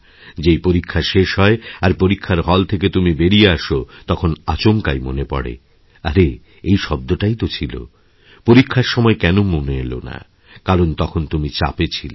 যেই পরীক্ষা শেষ হয় আর পরীক্ষারহল থেকে তুমি বেরিয়ে আস তখন আচমকাই মনে পড়ে আরে এই শব্দটাই তো ছিল পরীক্ষারসময় কেন মনে এল না কারণ তখন তুমি চাপে ছিলে